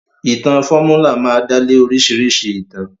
Ìtàn fọ́múlà máa dálé oríṣìíríṣìí ìtàn.